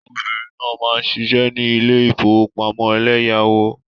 Obìnrin náà ń ṣiṣẹ́ ní ilé ìfowópamọ́ eleyawo.